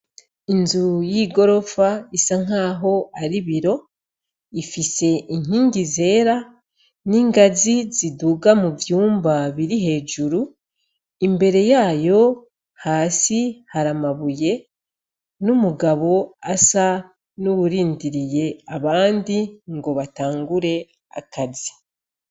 Inzu y'i goropfa isa nk'aho ari biro ifise inkingi zera n'ingazi ziduga mu vyumba biri hejuru imbere yayo hasi haramabuye n' umugabo asa n'uwurindiriye abandi ngo batangure akazi.